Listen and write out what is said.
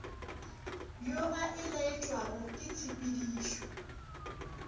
yo a elaetšwago ke tshepidišo